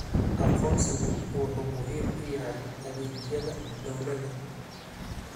Aqoonsigu wuxuu muhiim u yahay adeegyada dawladda.